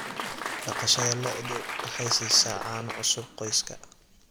Dhaqashada lo'du waxay siisaa caano cusub qoyska.